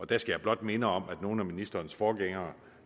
der skal jeg blot minde om at nogle af ministerens forgængere